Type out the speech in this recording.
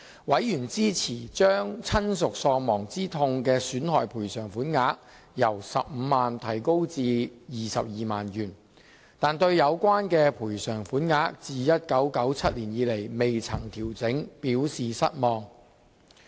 委員支持將親屬喪亡之痛損害賠償法定款額由 150,000 元提高至 220,000 元，但對有關賠償款額自1997年以來從未作出調整，表示失望。